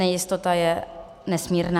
Nejistota je nesmírná.